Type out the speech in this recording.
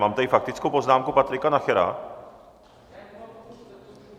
Mám tady faktickou poznámku Patrika Nachera.